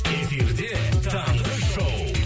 эфирде таңғы шоу